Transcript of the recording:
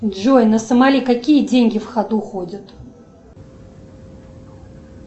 джой на сомали какие деньги в ходу ходят